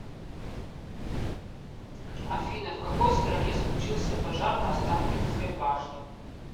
афина в какой стране случился пожар на останкинской башне